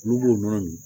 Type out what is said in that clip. Olu b'o nɔnɔ min